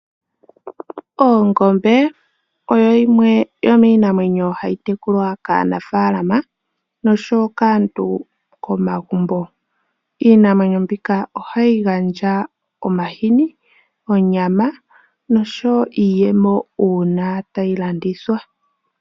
Oongombe oyo yimwe yo miinamwenyo hayi tekulwa kaa nafaalama nosho wo kaantu komagumbo. Iinamwenyo mbika ohayi gandja omahini, onyama nosho wo iiyemo uuna tayi landithwa.